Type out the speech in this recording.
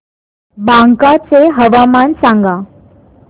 बांका चे हवामान सांगा